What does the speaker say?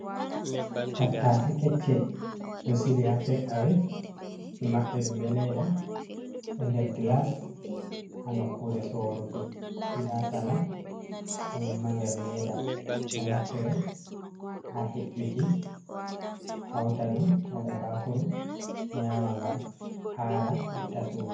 Tattace kecce ɗo sili ha take away. Ɓe maɓɓi ɗum be leda ha nder glass ha nukkure soruki. Nda salat kanjum ma nder leda. Ɗo naftire ha he’uki hauta ɗum waɗa bakuru nyama ngam hara, itta suna.